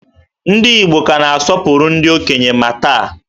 Ndị Igbo ka na-asọpụrụ ndị okenye ma taa